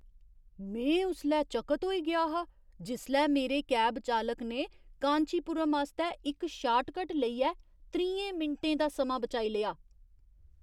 में उसलै चकत होई गेआ हा जिसलै मेरे कैब चालक ने कांचीपुरम आस्तै इक शार्टकट लेइयै त्रीहें मिंटें दा समां बचाई लेआ !